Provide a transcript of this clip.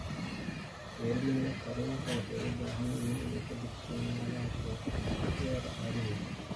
Beeralayda kalluunka waxa ay u baahan yihiin in ay ka digtoonaadaan suuqyada caalamiga ah.